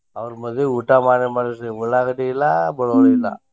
ಅವ್ರ ಮದ್ವಿ ಊಟ ಮಾಡೆ ಮಾಡಿಸಿರ್ ಉಳ್ಳಾಗಡ್ಡಿ ಇಲ್ಲ ಬಳ್ಳೊಳ್ಳಿ ಇಲ್ಲ.